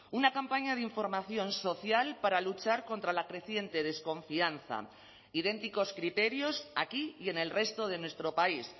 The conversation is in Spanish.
una campaña de información social para luchar contra la creciente desconfianza idénticos criterios aquí y en el resto de nuestro país